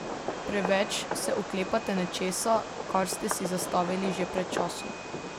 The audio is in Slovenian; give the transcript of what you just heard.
Preveč se oklepate nečesa, kar ste si zastavili že pred časom.